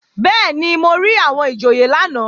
Bẹ́ẹ̀ni, mo rí àwọn ìjòyè lánàá